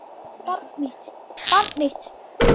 Barn mitt.